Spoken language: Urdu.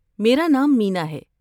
میرا نام مینا ہے۔